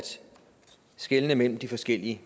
skelne imellem de forskellige